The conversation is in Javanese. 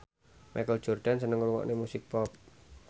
Michael Jordan seneng ngrungokne musik pop